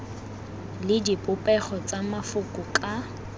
le dipopego tsa mafoko ka